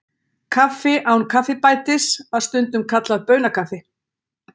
kaffi án kaffibætis var stundum kallað baunakaffi